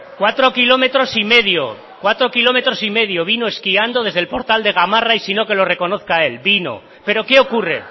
cuatro kilómetros y medio cuatro kilómetros y medio vino esquiando desde el portal de gamarra y sino que lo reconozca él vino pero qué ocurre